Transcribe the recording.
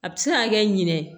A bɛ se ka kɛ ɲinɛ